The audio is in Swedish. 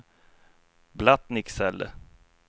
Blattnicksele